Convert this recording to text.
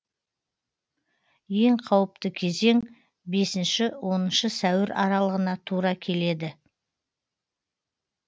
ең қауіпті кезең бесінші оныншы сәуір аралығына тура келеді